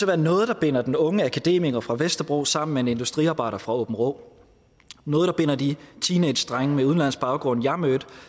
være noget der binder den unge akademiker fra vesterbro sammen med en industriarbejder fra aabenraa noget der binder de teenagedrenge med udenlandsk baggrund jeg mødte